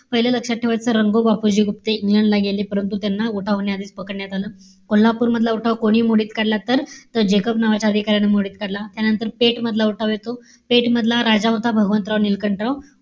पाहिलं लक्षात ठेवायचं रंगो बापूजी गुप्ते, इंग्लंडला गेले. परंतु, उठावाने आधीच पकडण्यात आलं. कोल्हापूरमधील उठाव कोणी मोडीत काढला तर, जेकब नावाच्या अधिकार्यानं मोडीत काढला. त्यानंतर पेठ मधला उठाव येतो. पेठ मधला राजा होता भगवंतराव निळकंठराव.